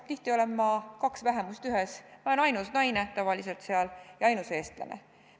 Tihti olen ma kaks vähemust ühes – ma olen seal tavaliselt ainus naine ja ma olen ainus eestlane.